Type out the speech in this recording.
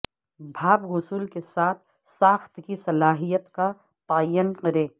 بھاپ غسل کے ساتھ ساخت کی صلاحیت کا تعین کریں